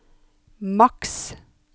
maks